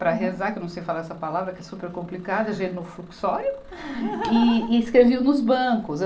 Para rezar, que eu não sei falar essa palavra, que é super complicada, genofluxório e, e escreviam nos bancos.